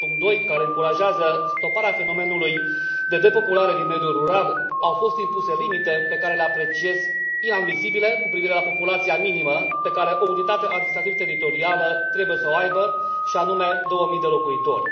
7.2, care încurajează stoparea fenomenului de depopulare din mediul rural, au fost impuse limite pe care le apreciez inadmisibile cu privire la populația minimă pe care o unitate administrativ teritorială trebuie să o aibă și anume două mii de locuitori.